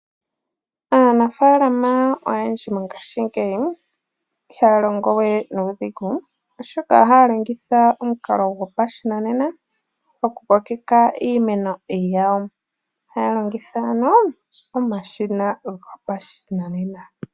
Aanafalama oyendji mongashingeyi ihaya longowe nuudhigu, oshoka ohaya longitha omukalo gwopashinanena okukokeka iimeno yawo. Ohaya longitha ano omashina gopashinanena.